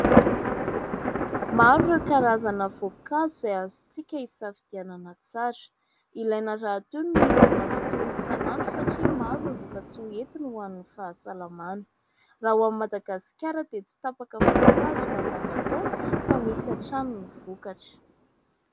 Maro ireo karazana voankazo izay azontsika isafidianana tsara. Ilaina rahateo ny mihinana azy itony isanandro satria maro ireo vokatsoa entiny ho an'ny fahasalamana. Raha ho an'i Madagasikara dia tsy tapaka voankazo mandavataona fa misy hatrany ny vokatra.